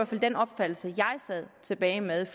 fald den opfattelse jeg sad tilbage med